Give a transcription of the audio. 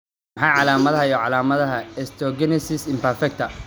Waa maxay calaamadaha iyo calaamadaha Osteogenesis imperfecta?